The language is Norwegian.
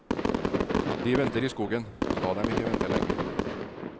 De venter i skogen, la dem ikke vente lenge.